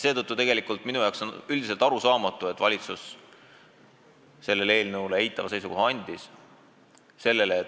Seetõttu on minu jaoks üldiselt arusaamatu, miks valitsus sellele eelnõule eitava seisukoha andis.